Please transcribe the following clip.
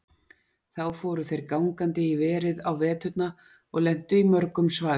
Þá fóru þeir gangandi í verið á veturna og lentu í mörgum svaðilförum.